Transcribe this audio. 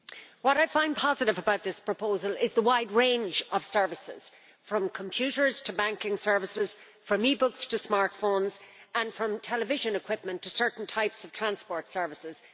What I find positive about this proposal is the wide range of services from computers to banking services, from e books to smartphones, and from television equipment to certain types of transport services.